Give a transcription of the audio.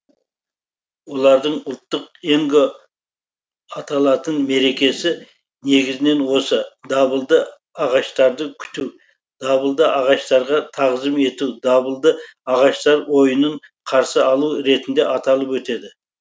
олардың ұлттық енго аталатын мерекесі негізінен осы дабылды ағаштарды күту дабылды ағаштарға тағзым ету дабылды ағаштар ойынын қарсы алу ретінде аталып өтеді